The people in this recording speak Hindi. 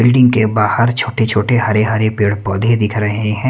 बिल्डिंग के बाहर छोटे छोटे हरे हरे पेड़ पौधे दिख रहे हैं।